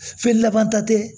Feerelama ta tɛ